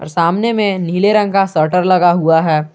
सामने में नीले रंग का सटर लगा हुआ है।